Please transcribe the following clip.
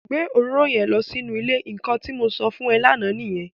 Gbé òróró yẹn lọ sínú ile! Nnkan tí mo sọ fún e lánà nìyẹn.